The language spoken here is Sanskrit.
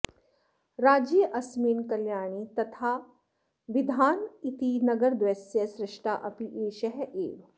राज्येऽस्मिन् कल्याणि तथा बिधान इति नगरद्वयस्य सृष्टा अपि एषः एव